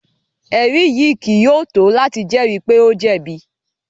Ẹri yii kii yóò to lati jẹri pe o jẹbi